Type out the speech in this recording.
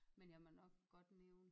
Men jeg må nok godt nævne